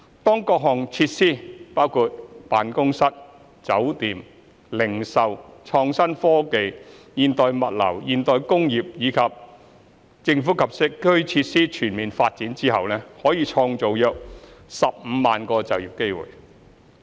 當各項設施，包括辦公室、酒店、零售、創新科技、現代物流、現代工業，以及"政府、機構及社區"設施全面發展後，可創造約15萬個就業機會。